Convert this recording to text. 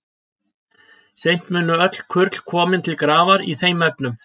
Seint munu öll kurl koma til grafar í þeim efnum.